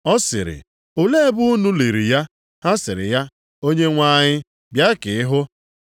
Ọ sịrị, “Olee ebe unu liri ya?” Ha sịrị ya, “Onyenwe anyị bịa ka ị hụ.”